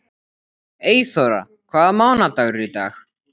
Eyþóra, hvaða mánaðardagur er í dag?